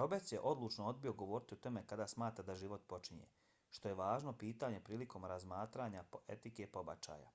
roberts je odlučno odbio govoriti o tome kada smatra da život počinje što je važno pitanje prilikom razmatranju etike pobačaja.